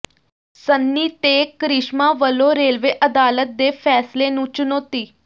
ਸਨੀ ਤੇ ਕ੍ਰਿਸ਼ਮਾ ਵੱਲੋਂ ਰੇਲਵੇ ਅਦਾਲਤ ਦੇ ਫ਼ੈਸਲੇ ਨੂੰ ਚੁਣੌਤੀ